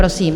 Prosím.